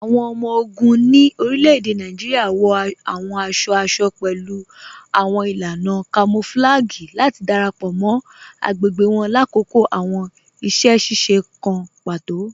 Awọn ọmọ-ogun ni orílẹ̀-èdè Nàìjíríà wọ awọn àṣọ-àṣọ̀ pẹ̀lú awọn ilànà kamọ̀flàgíì láti darapọ mọ́ agbẹ̀gbẹ̀ wọn lákọkọ̀ awọn iṣẹ̀-ṣiṣe kàn pátò.